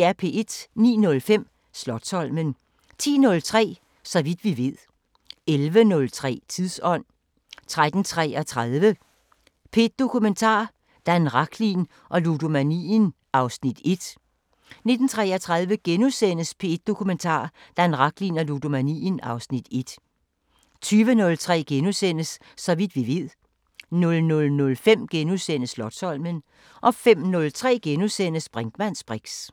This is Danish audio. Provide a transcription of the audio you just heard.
09:05: Slotsholmen 10:03: Så vidt vi ved 11:03: Tidsånd 13:33: P1 Dokumentar: Dan Rachlin og ludomanien (Afs. 1) 19:33: P1 Dokumentar: Dan Rachlin og ludomanien (Afs. 1)* 20:03: Så vidt vi ved * 00:05: Slotsholmen * 05:03: Brinkmanns briks *